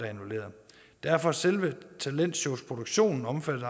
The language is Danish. derfor er selve talentshowsproduktionen omfattet